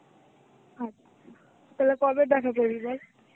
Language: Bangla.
আচ্ছা, তাহলে কবে দেখা করবি বল.